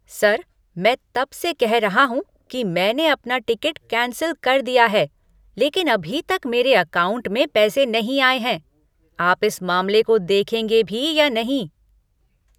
Sir! मैं तब से कह रहा हूँ कि मैंने अपना टिकट कैंसिल कर दिया है, लेकिन अभी तक मेरे अकाउंट में पैसे नहीं आए हैं। आप इस मामले को देखेंगे भी या नहीं?